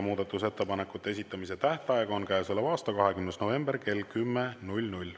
Muudatusettepanekute esitamise tähtaeg on käesoleva aasta 20. november kell 10.